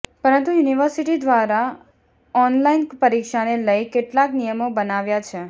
પરંતુ યુનિવર્સિટી દ્વારા ઓનલાઇન પરીક્ષાને લઈ કેટલાક નિયમો બનાવ્યા છે